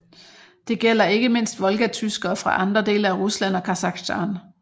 Det gælder ikke mindst volgatyskere fra andre dele af Rusland og Kazakhstan